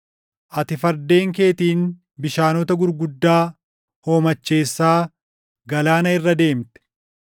Ati fardeen keetiin bishaanota gurguddaa hoomacheessaa galaana irra deemte.